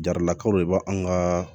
Jaralakaw de b'an ka